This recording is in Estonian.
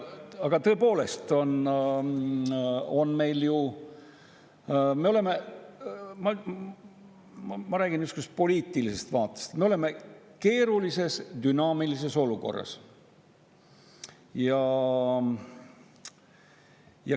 Aga tõepoolest, me oleme – ma räägin niisugusest poliitilisest vaatest – keerulises ja dünaamilises olukorras.